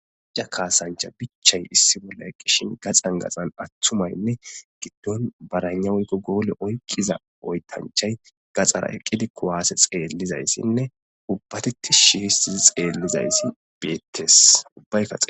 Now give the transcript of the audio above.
ija kaasancha bichay issi bolla eqqishin gaxan gaxan attumaynne giddon baraynawuykko goole oykqiza oytanchay gaxara eqqidi kuwaase xeellizayssinne ubbatetti shi histizi xeellizayssi beettes ubbay